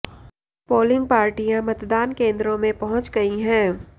polling पार्टियां मतदान केंद्रों में पहुंच गई हैं